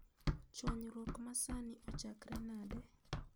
Chuanyruok ma sani ochakre nade?